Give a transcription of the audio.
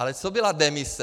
Ale co byla demise?